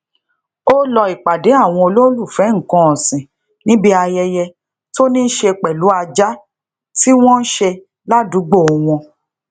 wọn ti mú rábìù ògbólógbòó ajínigbé tó ń sọrọ bíi àgbọn làkòkò